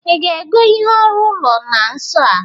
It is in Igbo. ị ga-ego ihe ọrụ ụlo na nso a?